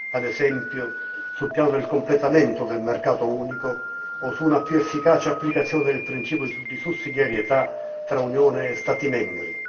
Ad esempio, sul piano del completamento del mercato unico o su una più efficace applicazione del principio di sussidiarietà tra Unione e Stati membri.